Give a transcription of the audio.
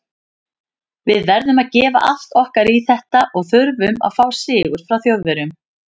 Við verðum að gefa allt okkar í þetta og þurfum að fá sigur frá Þjóðverjum.